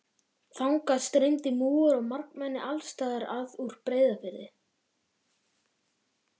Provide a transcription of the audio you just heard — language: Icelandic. Þangað streymdi múgur og margmenni alls staðar að úr Breiðafirði.